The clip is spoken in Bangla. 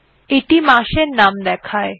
এইটি মাসের name দেয়